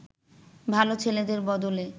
ভালো ছেলেদের বদলে